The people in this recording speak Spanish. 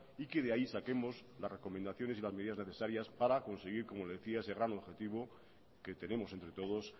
y que de ahí saquemos las recomendaciones y las medidas necesarias para conseguir ecomo le decíac ese gran objetivo que tenemos entre todos